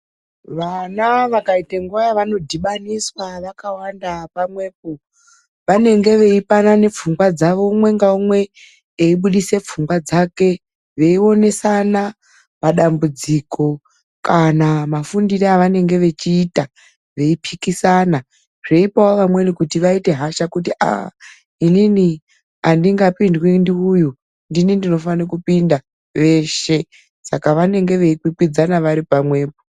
Vana vakaita nguwa yavanodhibaniswa vakawanda pamwepo vanenge veipanana pfungwa dzavo umwe ngaumwe eibudisa pfungwa dzake, veionesana padambudziko kana mafundire avanenge vechiita, veipikisana zveipawo vamweni kuti vaite hasha kuti aah! inini andingapindwi ndiuyu ndini ndinofaika kupinda veshe. Saka vanenge veikwikwidzana vari pamwepo.